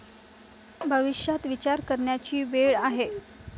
भविष्यात विचार करण्याची वेळ आहे.